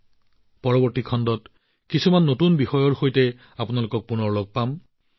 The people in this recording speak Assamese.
অহাবাৰ আকৌ মন কী বাতত কেতবোৰ নতুন বিষয় লৈ লগ পাম